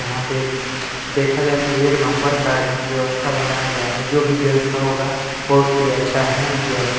यहाँ पे देखा जाए तो एक नंबर का यह व्यवस्था बनाया गया है जो भी व्यवस्था होगा बहुत ही अच्छा हैं व्यवस्था --